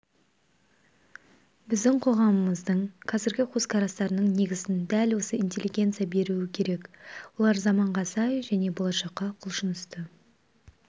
біздің қоғамымыздың қазіргі көзқарастарының негізін дәл осы интеллигенция беруі керек олар заманға сай және болашаққа құлшынысты